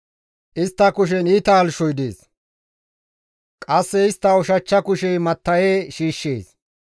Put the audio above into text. Istta kushen iita halchchoy dees; qasse istta ushachcha kushey matta7en kumides.